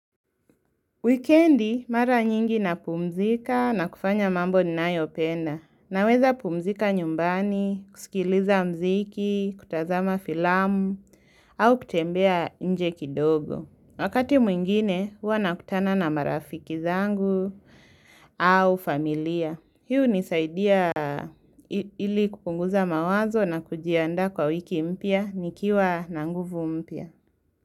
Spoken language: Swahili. Wikendi, mara nyingi na pumzika na kufanya mambo ninayopenda. Naweza pumzika nyumbani, kusikiliza mziki, kutazama filamu, au kutembea nje kidogo. Wakati mwingine, huwa nakutana na marafiki zangu au familia. Hii hunisaidia ili kupunguza mawazo na kujiandaa kwa wiki mpya, nikiwa na nguvu mpya.